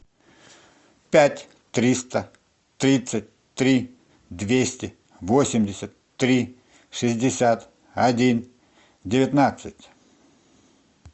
пять триста тридцать три двести восемьдесят три шестьдесят один девятнадцать